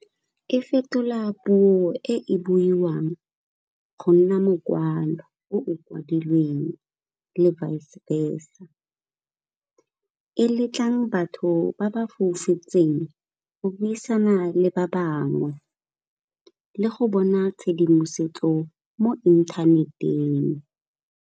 E fetola puo e buiwang go nna mokwalo o o kwadilweng le vice versa, e le tlang batho ba ba foufetseng go buisana le ba bangwe le go bona tshedimosetso mo inthaneteng.